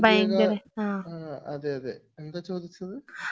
അത് ആഹ്ഹ് അതെ അതെ എന്താ ചോദിച്ചത് ?